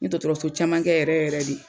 N ye dɔtɔrɔso caman kɛ yɛrɛ yɛrɛ de